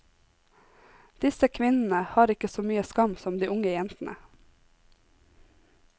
Disse kvinnene har ikke så mye skam som de unge jentene.